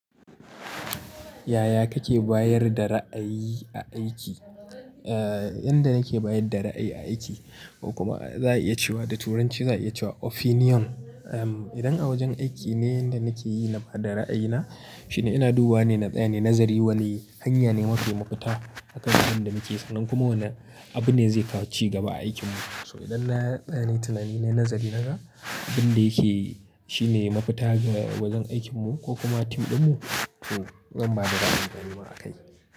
Yaya kake bayar da ra'ayi a aiki? Eh, yanda nake bayar da ra'ayi a aiki ko kuma za a iya cewa da turanci za a iya cewa opinion. Idan a wajen aiki ne yanda nake yi na ba da ra'ayina, shine ina duba ne na tsaye, nazari wane hanya ne mafi mafita akan abin da muke so nan kuma wane abu ne zai kawo ci gaba a aikinmu. So idan na tsani tunani na nazari na ga abin da yake shine mafita ga wajen aikinmu ko kuma tim ɗinmu, to zan ba da ra'ayin ganimuwa a kai.